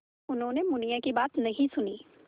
उन्होंने मुनिया की बात नहीं सुनी